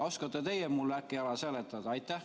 Oskate teie mulle äkki ära seletada?